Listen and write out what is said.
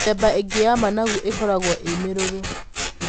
Mĩthemba ĩngĩ ya managu ikoragwo ĩ mĩrũrũ.